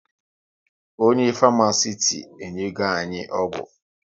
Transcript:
Onye Farmasiti enyego anyị ọgwụ